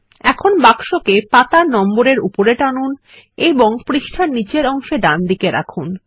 এখন বাক্সকে পাতার নম্বর এর উপরে টানুন এবং পৃষ্ঠার নীচের অংশে ডানদিকে রাখুন